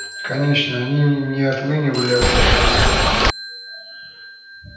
конечно они не отлынивали от работы